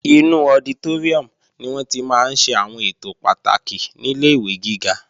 Inú ọditóríùm ni wọ́n tí máa ń ṣe àwọn ètò pàtàkì nílé ìwé gíga